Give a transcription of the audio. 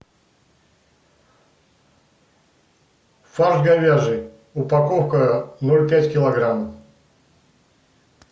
фарш говяжий упаковка ноль пять килограмм